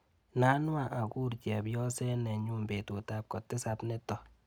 Inanwa akur chepyoset nenyuu betutap kotisap nito.